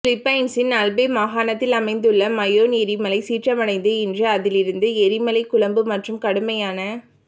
பிலிப்பைன்சின் Albay மாகாணத்தில் அமைந்துள்ள Mayon எரிமலை சீற்றமடைந்து இன்று அதிலிருந்து எரிமலை குழம்பு மற்றும் கடுமையான